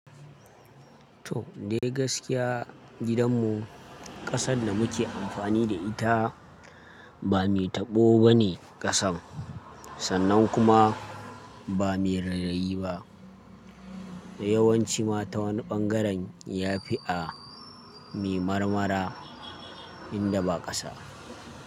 To, dai gaskiya gidanmu ƙasar da muke amfani da ita ba mai taɓo bane ƙasar sannan kuma ba mai rerayi ba. Da yawanci ma ta wani ɓangaren ya fi a me marmara inda ba ƙasa.